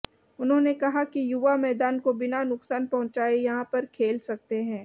उन्होंने कहा कि युवा मैदान को बिना नुकसान पहुंचाए यहां पर खेल सकते हैं